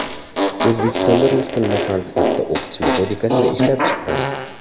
O‘zbekistonda rus tilini fan sifatida o‘qitish metodikasini ishlab chiqqan.